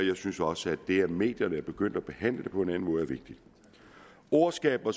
jeg synes også at det at medierne er begyndt at behandle det på en er vigtigt ord skaber